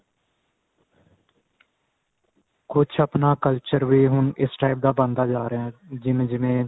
ਕੁੱਝ ਆਪਣਾ culture ਵੀ ਇਸ type ਦਾ ਬਣਦਾ ਜਾ ਰਿਹਾ ਜਿਵੇਂ ਜਿਵੇਂ